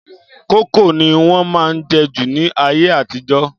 Kókò ni wọ́n má ń jẹ́ jù ní ayé àtijọ́